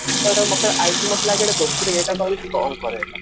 ତ ହେଇଟାକୁ i think ମତେ ଲାଗେ ଦୋସ୍ତିର ଇଏ ଟାକୁ ଆହୁରି strong କରେ ହେଟା